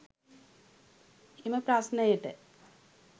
එම ප්‍රශ්නයට